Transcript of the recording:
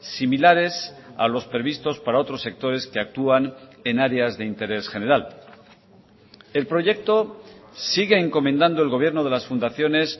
similares a los previstos para otros sectores que actúan en áreas de interés general el proyecto sigue encomendando el gobierno de las fundaciones